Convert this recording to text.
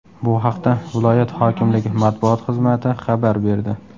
Bu haqda viloyat hokimligi matbuot xizmati xabar berdi .